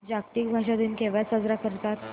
जागतिक भाषा दिन केव्हा साजरा करतात